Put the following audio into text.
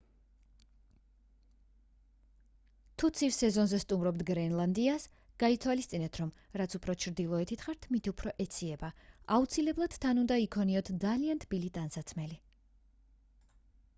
თუ ცივ სეზონზე სტუმრობთ გრენლანდიას გაითვალისწინეთ რომ რაც უფრო ჩრდილოეთით ხართ მით უფრო ეციება აუცილებლად თან უნდა იქონიოთ ძალიან თბილი ტანსაცმელი